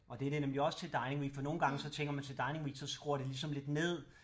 Og det er det nemlig også til Dining Week for nogle gange så tænker man til Dining Week så skruer det ligesom lidt ned